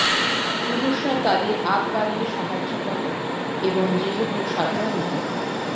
পুরুষরা তাদের আগ বাড়িয়ে সাহায্য করে এবং যেহেতু সাধারণত